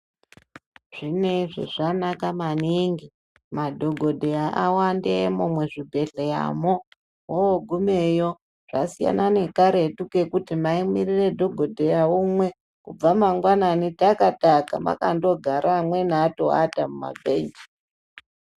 Zvineizvi zvanaka maningi madhokodheya awandemwo muzvibhedhleramwo mwoogumeyo zvasiyana nekaretu kekuti maimirira dhokodheya umwe kubva mangwanani takataka mwakandogara amweni atoata mumabhenji .